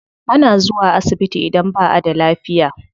Ana zuwa asibiti idan ba a da lafiya.